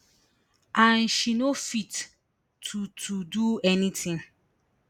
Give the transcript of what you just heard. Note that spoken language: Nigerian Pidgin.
and she no fit to to do anytin